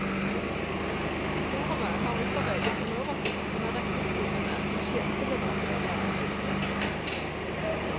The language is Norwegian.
Forumet har utarbeidet en oversikt som er retningsgivende for tjenesteleverandører og utstyrsprodusenter.